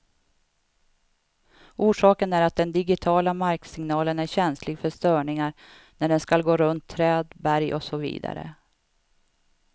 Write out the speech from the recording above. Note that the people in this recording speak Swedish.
Orsaken är att den digitiala marksignalen är känslig för störningar när den skall gå runt träd, berg och så vidare.